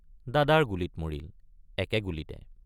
দাদাৰ গুলীত মৰিল—একে গুলীতে।